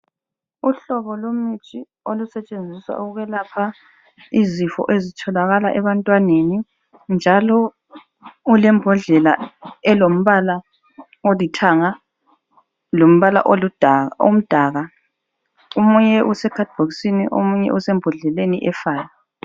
Uhlobo lomuthi olusetshenziswa ukwelapha izifo ezitholakala ebantwaneni njalo ulembodlela elombala olithanga lombala oludaka omdaka. Omunye usekhadibhokisini omunye usembodleleni efayo.